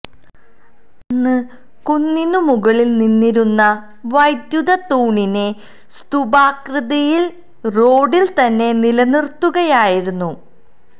അന്ന് കുന്നിന് മുകളില് നിന്നിരുന്ന വൈദ്യുത തൂണിനെ സ്തൂപാകൃതിയില് റോഡില് തന്നെ നിലനിര്ത്തുകയായിരുന്നു